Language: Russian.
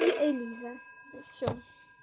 и элиза и все